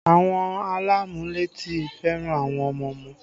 Àwọn alamuleti mi fẹ́ràn àwọn ọmọ mi